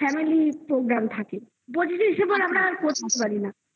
family এর program থাকে পচিশে December আমরা বসে থাকতে পারি না